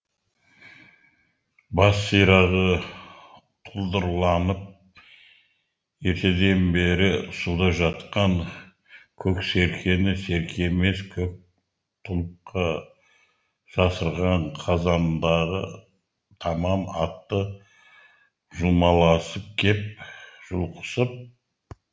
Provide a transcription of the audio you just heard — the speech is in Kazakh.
бас сирағы тұлдырланып ертеден бері суда жатқан көк серкені серке емес көк тұлыпқа жасырған қазандағы тамам атты жұлмаласып келіп жұлқысып